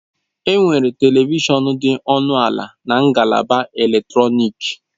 Enwere Televishọn dị ọnụ ala na ngalaba eletrọnịkị.